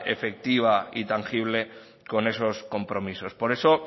efectiva y tangible con esos compromisos por eso